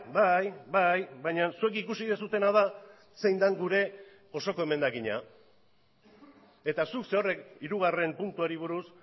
bai bai baina zuek ikusi duzuena da zein den gure osoko emendakina eta zuk zerorrek hirugarren puntuari buruz